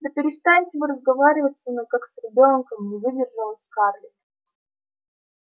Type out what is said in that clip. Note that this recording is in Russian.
да перестаньте вы разговаривать со мной как с ребёнком не выдержала скарлетт